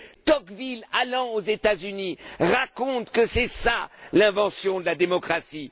Tocqueville, allant aux États Unis, raconte que c'est cela l'invention de la démocratie.